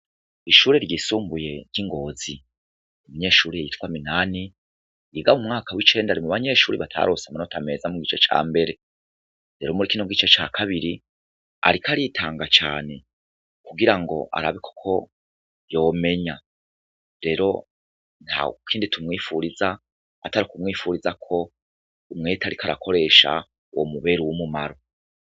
Ishure ryisumbuye ry'Ingozi umunyeshure yitwa MINANI yiga m'uwicenda ari mubanyeshuere batarose umwimbu mwiza mugice cambere. Rero mwakino gice cakabiri ariko aritanga cane kugirango arabe koko yomenya. Rero ntakindi tumwipfuriza atarukumwipfuriza k'umwete ariko arakoresha womubera uwumumaro.